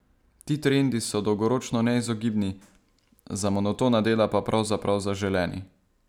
Ti trendi so dolgoročno neizogibni, za monotona dela pa pravzaprav zaželeni.